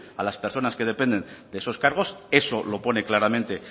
a las personas que dependen de esos cargos eso lo pone claramente